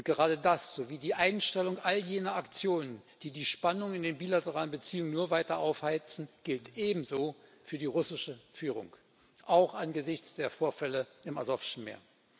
Gerade das sowie die Einstellung all jener Aktionen, die die Spannungen in den bilateralen Beziehungen nur weiter aufheizen, gilt ebenso für die russische Führung, auch angesichts der Vorfälle im Asowschen Meer.